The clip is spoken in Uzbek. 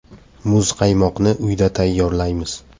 Muzqaymoqni uyda tayyorlaymiz.